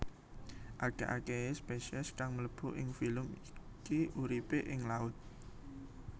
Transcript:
Akeh akehe spesies kang mlebu ing filum iki uripe ing laut